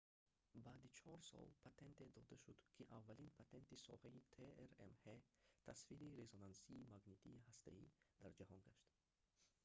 баъди чор сол патенте дода шуд ки аввалин патенти соҳаи трмҳ тасвири резонансии магнитии ҳастаӣ дар ҷаҳон гашт